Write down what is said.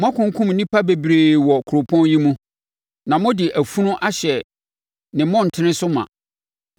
Moakunkum nnipa bebree wɔ kuropɔn yi mu, na mode afunu ahyɛ ne mmɔntene so ma.